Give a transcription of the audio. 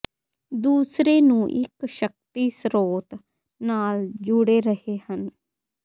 ਦੂਸਰੇ ਨੂੰ ਇੱਕ ਸ਼ਕਤੀ ਸਰੋਤ ਨਾਲ ਜੁੜੇ ਰਹੇ ਹਨ